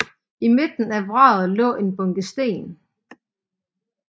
I midten af vraget lå en bunke sten